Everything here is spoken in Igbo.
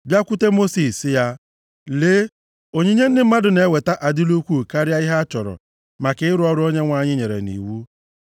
bịakwute Mosis, sị ya, “Lee, onyinye ndị mmadụ na-eweta adịla ukwuu karịa ihe a chọrọ maka ịrụ ọrụ a Onyenwe anyị nyere nʼiwu.”